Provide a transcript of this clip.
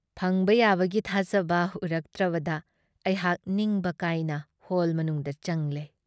ꯐꯪꯕ ꯌꯥꯕꯒꯤ ꯊꯥꯖꯕ ꯎꯔꯛꯇ꯭ꯔꯕꯗ ꯑꯩꯍꯥꯛ ꯅꯤꯡꯕ ꯀꯥꯏꯅ ꯍꯣꯜ ꯃꯅꯨꯡꯗ ꯆꯪꯂꯦ ꯫